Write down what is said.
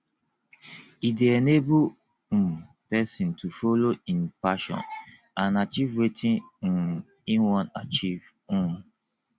e de enable um persin to follow in passion and acheive wetin um e won achieve um